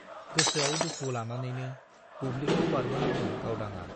गोसोआव दुखु लानानैनो बुब्लिखौ बारबोनांदों गावदांआ।